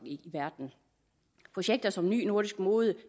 i verden projekter som ny nordisk mode